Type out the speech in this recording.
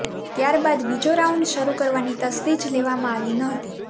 ત્યાર બાદ બીજો રાઉન્ડ શરૂ કરવાની તસ્દી જ લેવામાં આવી નહોતી